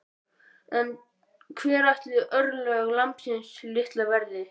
En hver ætli örlög lambsins litla verði?